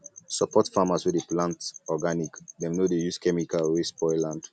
support farmers wey dey plant organic dem no dey use chemical wey spoil land